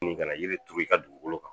Nin ka na yiri i ka dugukolo kan